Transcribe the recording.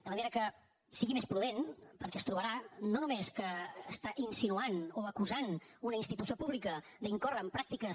de manera que sigui més prudent perquè es trobarà no només que està insinuant o acusant una institució pública d’incórrer en pràctiques